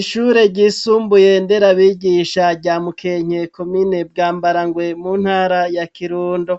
Ishure ryisumbuye nderabigisha rya mukenke komine bwa mbarangwe mu ntara ya kirundo